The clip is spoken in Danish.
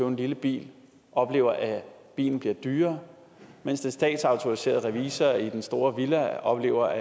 en lille bil oplever at bilen bliver dyrere mens den statsautoriserede revisor i den store villa oplever